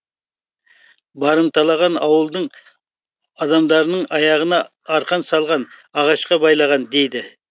барымталаған ауылдың адамдарының аяғына арқан салған ағашқа байлаған дейді